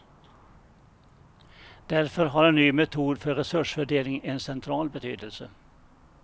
Därför har en ny metod för resursfördelning en central betydelse.